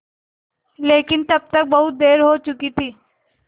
लेकिन तब तक बहुत देर हो चुकी थी